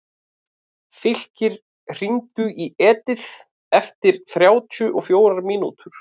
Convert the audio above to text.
Fylkir, hringdu í Edith eftir þrjátíu og fjórar mínútur.